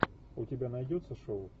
у тебя найдется шоу